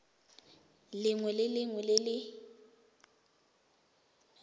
lengwe le lengwe le le